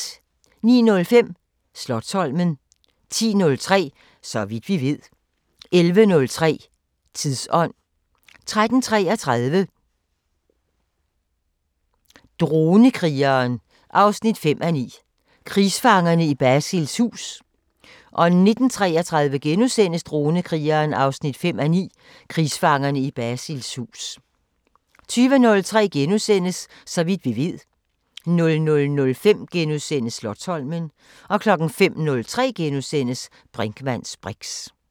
09:05: Slotsholmen 10:03: Så vidt vi ved 11:03: Tidsånd 13:33: Dronekrigeren 5:9 – Krigsfangerne i Basils hus 19:33: Dronekrigeren 5:9 – Krigsfangerne i Basils hus * 20:03: Så vidt vi ved * 00:05: Slotsholmen * 05:03: Brinkmanns briks *